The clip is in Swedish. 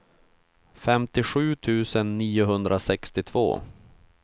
femtiosju tusen niohundrasextiotvå